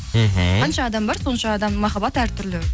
мхм қанша адам бар сонша адамның махаббаты әртүрлі